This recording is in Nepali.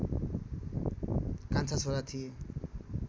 कान्छा छोरा थिए